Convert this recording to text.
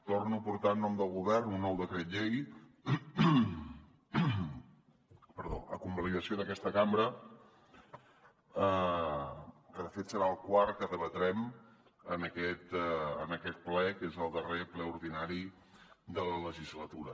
torno a portar en nom del govern un nou decret llei a convalidació d’aquesta cambra que de fet serà el quart que debatrem en aquest ple que és el darrer ple ordinari de la legislatura